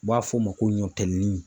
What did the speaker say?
U b'a f'o ma ko ɲɔtɛli nin.